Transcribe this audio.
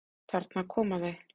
Þarna koma þau!